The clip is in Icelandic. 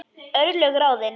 Örlög ráðin